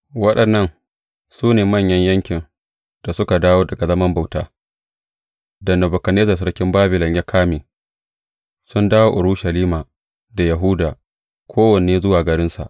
Waɗannan su ne mutanen yankin da suka dawo daga zaman bautar da Nebukadnezzar sarkin Babilon ya kame sun dawo Urushalima da Yahuda, kowanne zuwa garinsa.